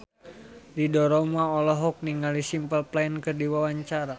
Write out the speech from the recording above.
Ridho Roma olohok ningali Simple Plan keur diwawancara